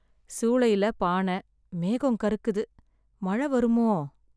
சூளையிலே பானை. மேகம் கருக்குது. மழை வருமோ?